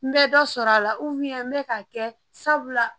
N bɛ dɔ sɔrɔ a la n bɛ k'a kɛ sabula